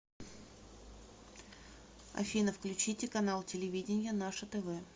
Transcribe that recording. афина включите канал телевидения наше тв